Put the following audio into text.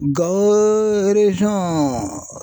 Gawo